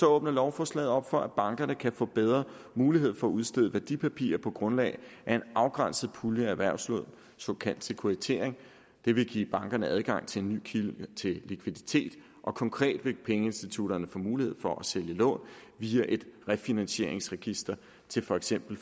åbner lovforslaget op for at bankerne kan få bedre mulighed for at udstede værdipapirer på grundlag af en afgrænset pulje af erhvervslån såkaldt sekuritisering det vil give bankerne adgang til en ny kilde til likviditet og konkret vil pengeinstitutterne få mulighed for at sælge lån via et refinansieringsregister til for eksempel